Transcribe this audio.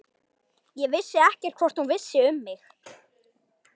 Ég vissi ekkert hvort hún vissi um mig.